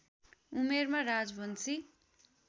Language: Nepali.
उमेरमा राजवंशी